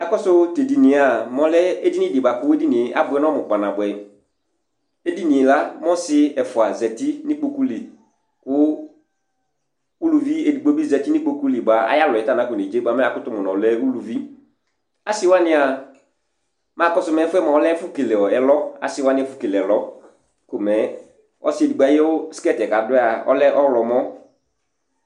Akɔsu tu ɛɖìní mɛ ɔlɛ ɛɖìní ɖi bʋakʋ abʋɛ nɔmu kpa nabʋɛ Ɛɖìní la mɛ ɔsi ɛfʋa zɛti ŋu ikpoku li Uluvi ɛɖigbo bi zɛti ŋu ikpoku li bʋa ayʋ alɔ nakɔ nedze bʋa yakʋtu mu ŋu ɔlɛ ulʋvi Mɛ akɔsu ɛfuɛ lɛ asiwaŋi ɛfu kele ɛlɔ Ɔsi ɛɖigbo ayʋ skirt kʋ laɖʋɛ lɛ ɔlɔmɔ